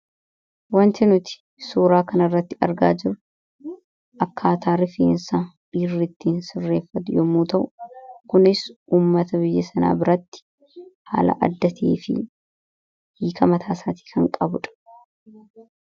wanti nuti suuraa kan irratti argaa jiru akkaataarifiinsaa dhiirrittii sirreeffatu yommuu ta'u kunis ummata biyya sanaa biratti haala addatii fi hiika mataa isaatii kan qabudha